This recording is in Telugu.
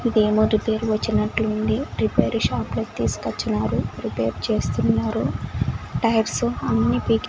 ఇదేమో రిపేర్ వచ్చినట్లుంది రిపేర్ షాప్లోకి తీసుకచ్చినారు రిపేర్ చేస్తున్నారు టైర్స్ అన్ని పీకి--